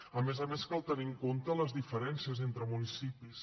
a més a més cal tenir en compte les diferències entre municipis